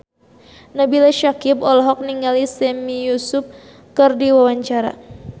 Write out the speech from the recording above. Nabila Syakieb olohok ningali Sami Yusuf keur diwawancara